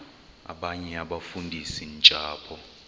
abanye abafundisi ntshapo